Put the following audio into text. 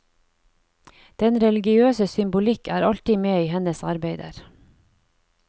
Den religiøse symbolikk er alltid med i hennes arbeider.